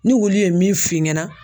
Ni wolu ye min f'i ɲɛna.